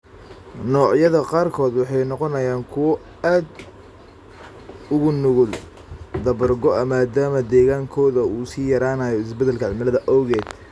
Noocyada qaarkood waxay noqonayaan kuwo aad ugu nugul dabar go'a maadaama deegaankooda uu sii yaraanayo isbeddelka cimilada awgeed.